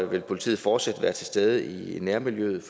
vil politiet fortsat være til stede i nærmiljøet